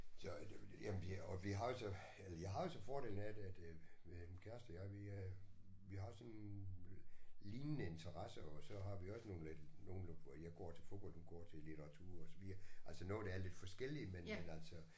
Så det jamen jeg og vi har jo så eller jeg har jo så fordelen af at at min kæreste og jeg vi øh vi har sådan øh lignende interesser og så har vi også nogle lidt nogle hvor jeg går til fodbold hun går til litteratur og så videre altså noget der er lidt forskelligt men men altså